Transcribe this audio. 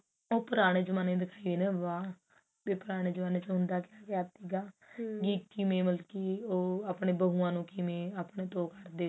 ਉਹ ਪੁਰਾਣੇ ਜਮਾਨੇ ਦੇ ਦਿਖਾਈ ਜਾਂਦੇ ਨੇ ਵਿਆਹ ਵੀ ਪੁਰਾਣੇ ਜਮਾਨੇ ਚ ਹੁੰਦਾ ਕਿਆ ਕਿਆ ਸੀਗਾ ਵੀ ਕਿਵੇਂ ਮਤਲਬ ਕੀ ਉਹ ਆਪਣੇ ਬਹੁਆਂ ਨੂੰ ਆਪਣੇ ਤੋਂ ਕਿਵੇਂ